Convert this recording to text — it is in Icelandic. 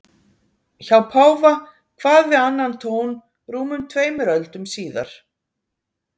Hjá páfa kvað við annan tón rúmum tveimur öldum síðar.